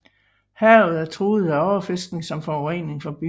Havet er truet af overfiskning samt forurening fra byerne